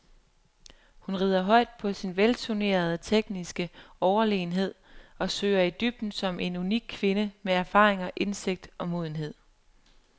Hun rider højt på sin velturnerede, tekniske overlegenhed og søger i dybden som en unik kvinde med erfaringer, indsigt og modenhed.